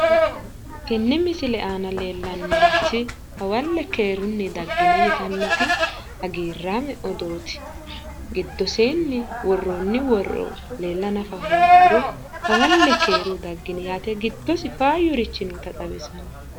Tenne misile aana leellannorichi hawalle keerunni daggini yitannoti hagiirrame odooti, giddose woroonni woro leella nafa hooguro hawalle keerunni daggini yitannota giddose faayyuri noota xawissanno.